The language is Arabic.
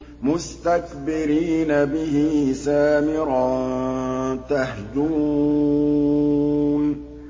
مُسْتَكْبِرِينَ بِهِ سَامِرًا تَهْجُرُونَ